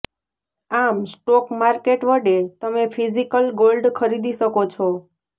આમ stock market વડે તમે ફિઝિકલ ગોલ્ડ ખરીદી શકો છો